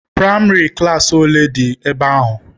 Praịmarị klassi ole dị ebe ahụ